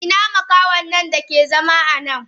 Ina makahonnan dake zama anan?